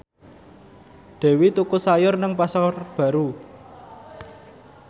Dewi tuku sayur nang Pasar Baru